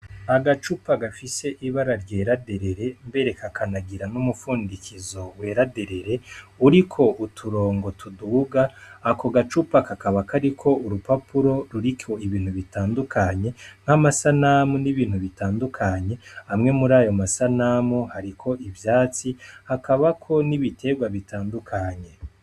Agacupa gafise ibara ryeraderere mbere ka akanagira n'umupfundikizo weraderere uri ko uturongo tuduga ako gacupa kakaba kariko urupapuro ruri ko ibintu bitandukanye nk'amasa namu n'ibintu bitandukanye hamwe muri ayo masa namu hariko ivyatsi hakba bako nibiterwa bitandukanye.